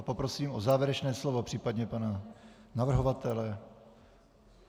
A poprosím o závěrečné slovo případně pana navrhovatele...